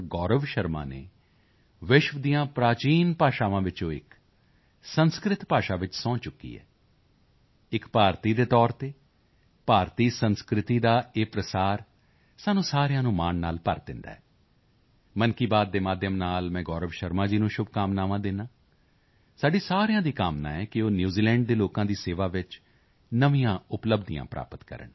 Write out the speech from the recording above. ਗੌਰਵ ਸ਼ਰਮਾ ਨੇ ਵਿਸ਼ਵ ਦੀਆਂ ਪ੍ਰਾਚੀਨ ਭਾਸ਼ਾਵਾਂ ਵਿੱਚੋਂ ਇੱਕ ਸੰਸਿਤ ਭਾਸ਼ਾ ਵਿੱਚ ਸਹੁੰ ਚੁੱਕੀ ਹੈ ਇੱਕ ਭਾਰਤੀ ਦੇ ਤੌਰ ਤੇ ਭਾਰਤੀ ਸੰਸਕ੍ਰਿਤੀ ਦਾ ਇਹ ਪ੍ਰਸਾਰ ਸਾਨੂੰ ਸਾਰਿਆਂ ਨੂੰ ਮਾਣ ਨਾਲ ਭਰ ਦਿੰਦਾ ਹੈ ਮਨ ਕੀ ਬਾਤ ਦੇ ਮਾਧਿਅਮ ਨਾਲ ਮੈਂ ਗੌਰਵ ਸ਼ਰਮਾ ਜੀ ਨੂੰ ਸ਼ੁਭਕਾਮਨਾਵਾਂ ਦਿੰਦਾ ਹਾਂ ਸਾਡੀ ਸਾਰਿਆਂ ਦੀ ਕਾਮਨਾ ਹੈ ਕਿ ਉਹ ਨਿਊਜ਼ੀਲੈਂਡ ਦੇ ਲੋਕਾਂ ਦੀ ਸੇਵਾ ਵਿੱਚ ਨਵੀਆਂ ਉਪਲੱਬਧੀਆਂ ਪ੍ਰਾਪਤ ਕਰਨ